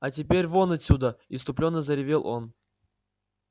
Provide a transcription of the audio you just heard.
а теперь вон отсюда исступлённо заревел он